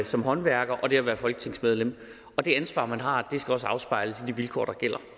som håndværker og det at være folketingsmedlem og det ansvar man har skal også afspejles i de vilkår der gælder